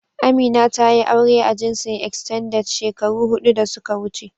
Amina tayi aure a jinsin "Extended " shekaru hudu da suka wuce.